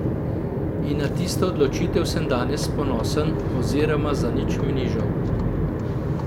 In na tisto odločitev sem danes ponosen oziroma za nič mi ni žal.